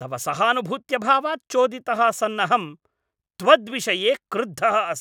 तव सहानुभूत्यभावात् चोदितः सन्नहं त्वद्विषये कुद्धः अस्मि।